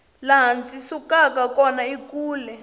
laha ndzi sukaka kona i kule